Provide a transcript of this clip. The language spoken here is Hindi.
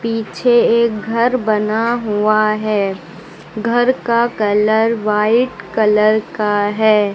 पीछे एक घर बना हुआ है घर का कलर वाइट कलर का है।